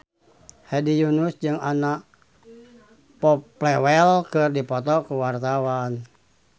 Hedi Yunus jeung Anna Popplewell keur dipoto ku wartawan